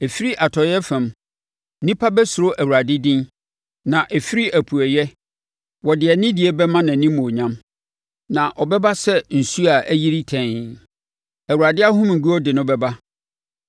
Ɛfiri atɔeɛ fam, nnipa bɛsuro Awurade din na ɛfiri apueeɛ wɔde anidie bɛma nʼanimuonyam. Na ɔbɛba sɛ nsuo a ayiri tɛnn, Awurade ahomeguo de no bɛba.